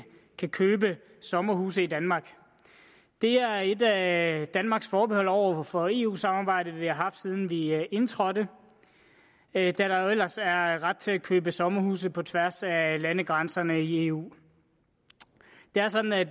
kan købe sommerhuse i danmark det er et at danmarks forbehold over for eu samarbejdet som vi har haft siden vi indtrådte da der jo ellers er ret til at købe sommerhuse på tværs af landegrænserne i eu det er sådan at